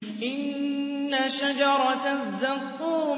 إِنَّ شَجَرَتَ الزَّقُّومِ